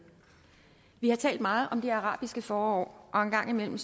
vi har talt meget om det arabiske forår og en gang imellem